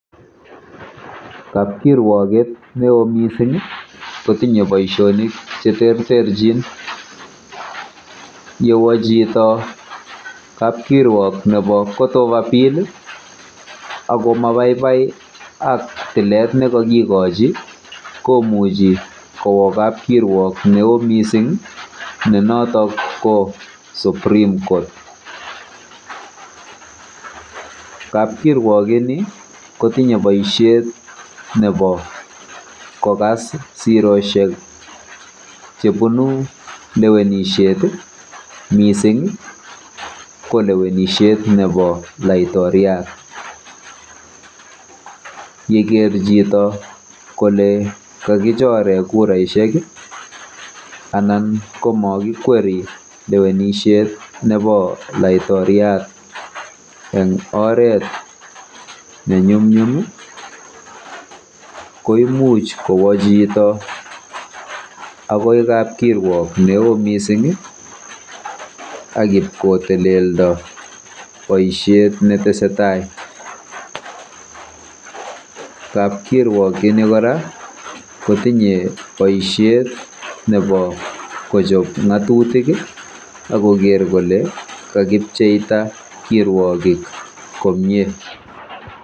Kapkirwoget ne oo missing' ko tinye poishonik che terterchin. Ye wa chito kapkirwok nepo court of appeal, ako ma paipai ak tilet ne kakikochi komuchi kowa kapkirwok ne oo missing ne notok ko supreme court. Kapkirwok ini ko tinye poishet nepo kokas siroshek che punu lewenishet, missing' ko lewenishet nepo laiktoriat. Ye ker chito kole kakichore kutraishek anan ko ma kikweri lewenishet nepo laiktoriat eng' oret ne nyumnyum ko imuch kowa chito akoi kapkirwok ne oo missing ak ip kotelenda poishet ne tese tai. Kapkirwok ini kora kotinye poishet nepo kochop ng'atutik ak koler kole kakipcheita kirwogik komye.